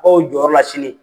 sini.